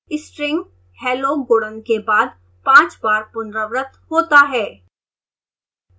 string hello गुणन के बाद 5 बार पुनरावृत होता है